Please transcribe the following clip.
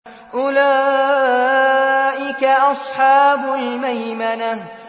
أُولَٰئِكَ أَصْحَابُ الْمَيْمَنَةِ